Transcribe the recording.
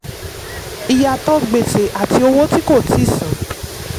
ìyàtò gbèsè àti owó tí kò tíì san.